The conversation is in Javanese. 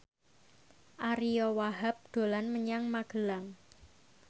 Ariyo Wahab dolan menyang Magelang